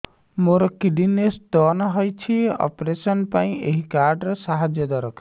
ମୋର kidney stone ହଇଛି operation ପାଇଁ ଏହି କାର୍ଡ ର ସାହାଯ୍ୟ ଦରକାର